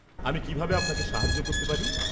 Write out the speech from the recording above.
আমি কিভাবে আপনাকে সাহায্য করতে পারি?